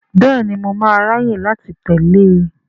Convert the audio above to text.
Bẹ́ẹ̀ni, mo máa ráyè láti tẹ̀lé e.